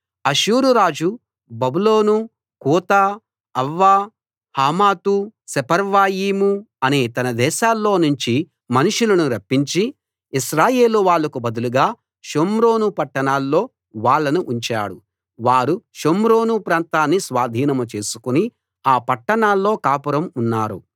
అష్షూరు రాజు బబులోను కూతా అవ్వా హమాతు సెపర్వయీము అనే తన దేశాల్లో నుంచి మనుషులను రప్పించి ఇశ్రాయేలు వాళ్లకు బదులుగా షోమ్రోను పట్టణాల్లో వాళ్ళను ఉంచాడు వారు షోమ్రోను ప్రాంతాన్ని స్వాధీనం చేసుకుని ఆ పట్టణాల్లో కాపురం ఉన్నారు